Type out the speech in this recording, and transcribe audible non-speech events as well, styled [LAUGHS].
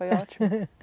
Foi ótimo. [LAUGHS]